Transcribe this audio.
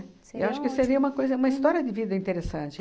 Eu acho que seria uma coisa, uma história de vida interessante.